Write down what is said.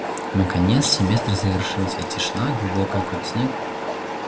наконец семестр завершился и тишина глубокая как снег